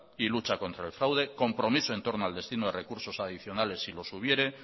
y lucha contra el fraude compromiso en torno al destino de recursos adicionales si los hubiere